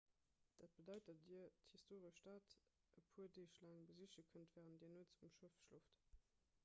dat bedeit datt dir d'historesch stad e puer deeg laang besiche kënnt wärend dir nuets um schëff schlooft